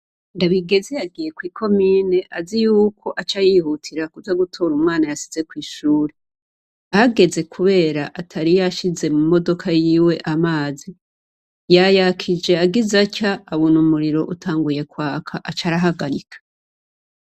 Ndarugeze yagiye kwi komine aziyuko aca yihutira gutora umwana yasize kwishure, ahageze kubera atari yashize mumodoka yiwe amazi yayakije agize atya abona umuriro utanguye kwaka aca arahagarika.